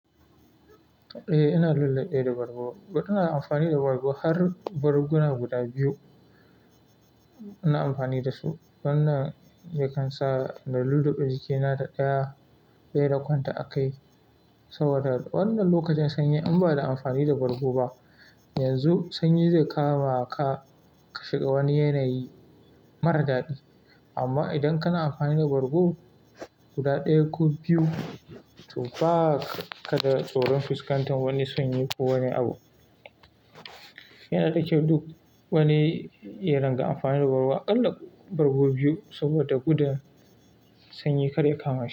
Eh, ina lullabe da bargo. Ina amfani da bargo har barguna guda biyu ina amfani da su. Wannan yakan sa na lullaɓi jikina da ɗaya dai rakonta a kai saboda wannan lokacin sanyi in ba da amfani da bargo ba, yanzu sanyi zai kama ka ka shiga wani yanayi mara daɗi. Amma idan kana amfani da bargo guda ɗaya ko biyu, to ba ka da tsoron fuskantar wani sanyi ko wani abu. Yana ɗauke duk wani irin ga amfani da bargo. Aƙalla bargo biyu saboda gudun sanyi kar ya kama shi.